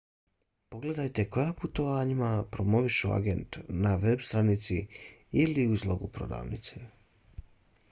pogledajte koja putovanjima promoviše agent na veb stranici ili u izlogu prodavnice